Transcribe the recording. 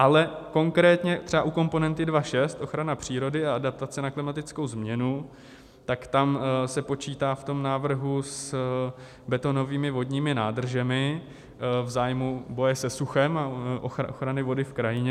Ale konkrétně třeba u komponenty 2.6 Ochrana přírody a adaptace na klimatickou změnu, tak tam se počítá v tom návrhu s betonovými vodními nádržemi v zájmu boje se suchem a ochrany vody v krajině.